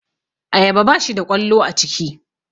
Ayaba bashi da ƙwallo a ciki